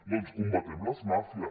doncs combatem les màfies